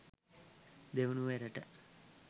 දෙවනුව එරට